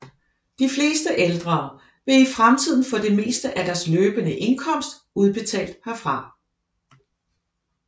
De fleste ældre vil i fremtiden få det meste af deres løbende indkomst udbetalt herfra